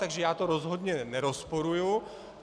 Takže já to rozhodně nerozporuji.